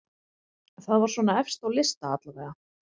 Það var svona efst á lista allavega.